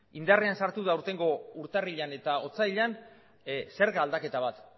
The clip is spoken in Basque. indarrean sartu da aurtengo urtarrilean eta otsailean zerga aldaketa bat